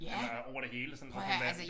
Eller over det hele og sådan prøv at høre hvad